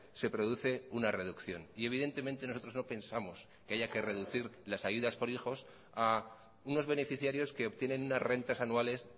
se produce una reducción y evidentemente nosotros no pensamos que haya que reducir las ayudas por hijos a unos beneficiarios que obtienen unas rentas anuales